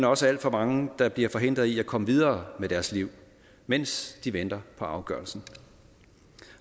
også alt for mange der bliver forhindret i at komme videre med deres liv mens de venter på afgørelsen